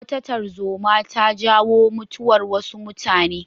Wata tarzoma ta jawo mutuwar wasu mutane.